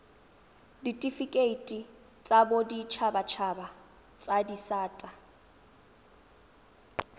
ditifikeiti tsa boditshabatshaba tsa disata